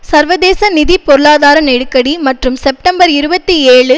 சர்வதேச நிதி பொருளாதார நெருக்கடி மற்றும் செப்டம்பர் இருபத்தி ஏழு